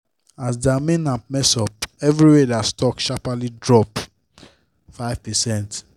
as their main app mess up everywhere their stock sharpaly drop 5%